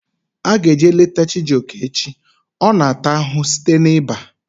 Aga m eje leta Chijioke echi. Ọ na ata ahụhụ site na iba